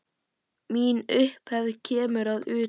Mín upphefð kemur að utan.